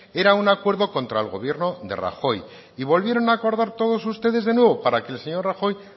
era un acuerdo contra el gobierno de rajoy y volvieron a acordar ustedes de nuevo para que el señor rajoy